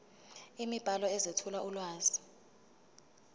imibhalo ezethula ulwazi